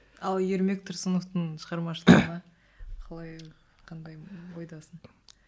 ал ермек тұрсыновтың шығармашылығына қалай қандай ойдасың